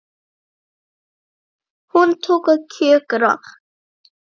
Hún tók að kjökra.